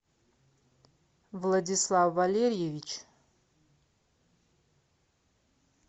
владислав валерьевич